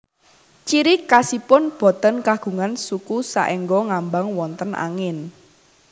Ciri khasipun boten kagungan suku saéngga ngambang wonten angin